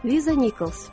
Liza Nikols.